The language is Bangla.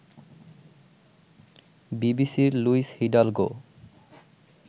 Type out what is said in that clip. বিবিসির লুইস হিডালগো